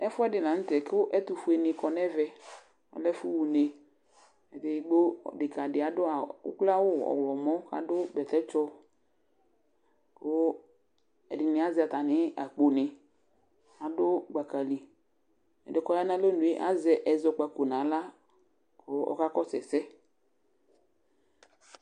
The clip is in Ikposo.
Ɛfʋɛdɩ la nʋ tɛ kʋ ɛtʋfue nɩ kɔ nɛvɛ, ɔlɛ ɛfʋ ɣa uneEdigbo, dekǝ dɩ adʋ awʋ uklo awʋ ɔɣlɔmɔ ,kʋadʋ bɛtɛtsɔ; kʋ ɛdɩnɩ azɛ atamɩ akpo nɩ ,adʋ gbaka li Ɛdɩɛ kɔya nalonue azɛ ɛzɔkpako naɣla kʋ ɔka kɔsʋ ɛsɛ